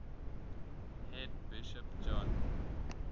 head bishop john